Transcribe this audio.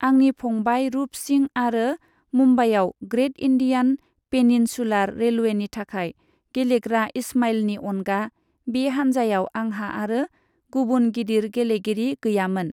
आंनि फंबाय रूप सिंह आरो मुम्बाइयाव ग्रेट इन्डियान पेनिनसुलार रेलवेनि थाखाय गेलेग्रा इस्माइलनि अनगा बे हान्जायाव आंहा आरो गुबुन गिदिर गेलेगिरि गैयामोन।